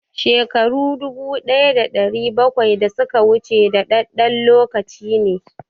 Shekaru dubu ɗaya da ɗari bakwai da suka wuce dadadɗen lokaci ne